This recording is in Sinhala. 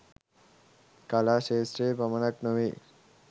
කලා ක්ෂේත්‍රයේ පමණක් නොවෙයි